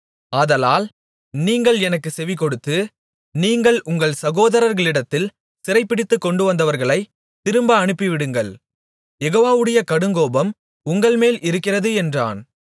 ஆதலால் நீங்கள் எனக்கு செவிகொடுத்து நீங்கள் உங்கள் சகோதரர்களிடத்தில் சிறைபிடித்துக் கொண்டுவந்தவர்களைத் திரும்ப அனுப்பிவிடுங்கள் யெகோவாவுடைய கடுங்கோபம் உங்கள்மேல் இருக்கிறது என்றான்